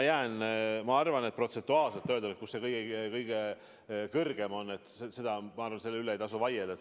Samas ma arvan, et kui tahta öelda, kus see protsentuaalselt kõige kõrgem on, siis selle üle ei tasu vaielda.